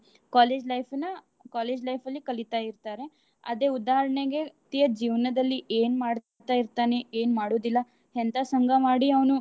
College life ನ college life ಲಿ ಕಲೀತಾ ಇರ್ತಾರ. ಅದೇ ಉದಾಹರ್ಣೆಗೆ ಜೀವ್ನದಲ್ಲಿ ಏನ್ ಮಾಡ್ತಾ ಇರ್ತಾನೆ ಏನ್ ಮಾಡುದಿಲ್ಲ ಎಂತ ಸಂಗ ಮಾಡಿ ಅವ್ನು.